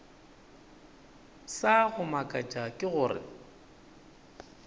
sa go makatša ke gore